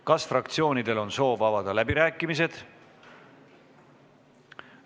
Kas fraktsioonidel on soov avada läbirääkimised?